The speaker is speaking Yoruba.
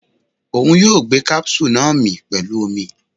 Oun yoo gbemí capsule naa pẹlu omi